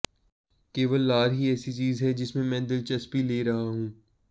केवल लार ही ऐसी चीज है जिसमें मैं दिलचस्पी ले रहा हूं